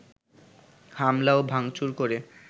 হামলা ও ভাংচুর করে